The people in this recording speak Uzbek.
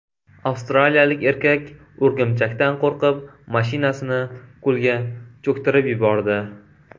Avstraliyalik erkak o‘rgimchakdan qo‘rqib mashinasini ko‘lga cho‘ktirib yubordi.